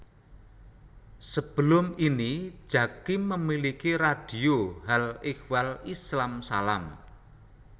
Sebelum ini Jakim memiliki radio hal ehwal Islam Salam